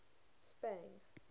spang